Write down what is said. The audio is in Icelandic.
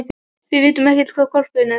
Við vitum ekkert hvar hvolpurinn er.